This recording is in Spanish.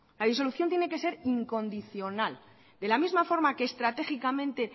la disolución tiene que ser incondicional de la misma forma que estratégicamente